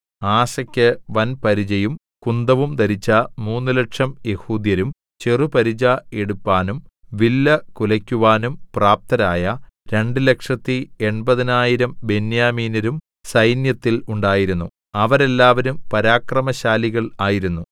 ആസെക്ക് വൻപരിചയും കുന്തവും ധരിച്ച മൂന്നുലക്ഷം യെഹൂദ്യരും ചെറുപരിച എടുപ്പാനും വില്ലു കുലക്കുവാനും പ്രാപ്തരായ രണ്ടുലക്ഷത്തി എൺപതിനായിരം ബെന്യാമീന്യരും സൈന്യത്തിൽ ഉണ്ടായിരുന്നു അവരെല്ലാവരും പരാക്രമശാലികൾ ആയിരുന്നു